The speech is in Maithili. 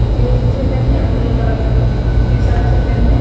जींस छै पहिनले ब्लू कलर के टी-शर्ट छै पहिनले --